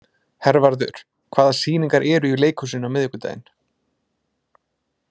Hervarður, hvaða sýningar eru í leikhúsinu á miðvikudaginn?